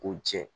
K'u jɛ